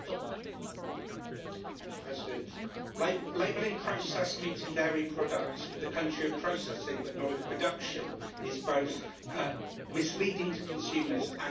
Mr President, labelling processed meat and dairy products with the country of processing, but not of production, is both misleading to consumers and unfair to farmers.